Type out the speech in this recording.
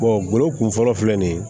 golo kun fɔlɔ filɛ nin ye